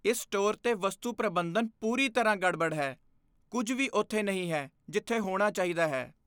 ਇਸ ਸਟੋਰ ਦੇ ਵਸਤੂ ਪ੍ਰਬੰਧਨ ਪੂਰੀ ਤਰ੍ਹਾਂ ਗੜਬੜ ਹੈ। ਕੁੱਝ ਵੀ ਉੱਥੇ ਨਹੀਂ ਹੈ ਜਿੱਥੇ ਹੋਣਾ ਚਾਹੀਦਾ ਹੈ।